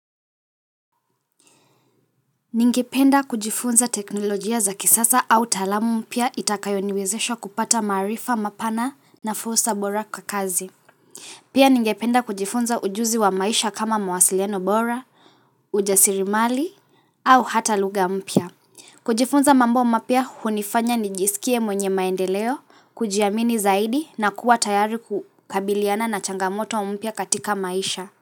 Ningependa kujifunza teknolojia za kisasa au taaluma mpya itakayoniwezesha kupata maarifa mapana na fursa bora kwa kazi Pia ningependa kujifunza ujuzi wa maisha kama mawasiliano bora, ujasiriamali, au hata lugha mpya kujifunza mambo mapya hunifanya nijisikie mwenye maendeleo, kujiamini zaidi na kuwa tayari kukabiliana na changamoto mpya katika maisha.